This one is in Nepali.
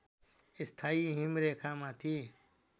स्थायी हिमरेखामाथि